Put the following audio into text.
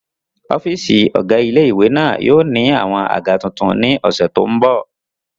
Ọ́fìsì ọ̀gá ilé-ìwé náà yóò ní àwọn àga tuntun ní ọ̀sẹ̀ tó n bọ̀